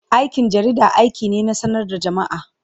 Aikin jarida aiki ne na sanar da jama'a.